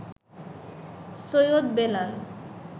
Syed Belal